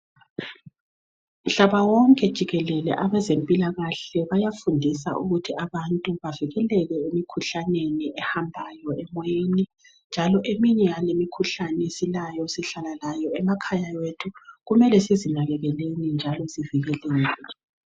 Mhlaba wonke jikelele abezempilakahle bayafundisa ukuthi abantu bavikeleke emikhuhlaneni ehambayo emoyeni njalo eminye yalemikhuhlane esilayo esihlala layo emakhaya wethu kumele sizinakekeleni njalo sizivikele.